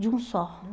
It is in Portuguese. De um só.